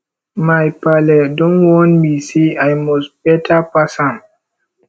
my paale don warn me sey i must beta pass am